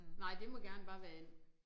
Nej det må gerne bare være and